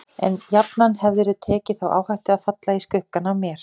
En jafnan hefðirðu tekið þá áhættu að falla í skuggann af mér.